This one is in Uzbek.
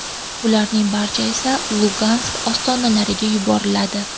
Ularning barchasi esa Lugansk ostonalariga yuboriladi.